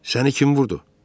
Səni kim vurdu?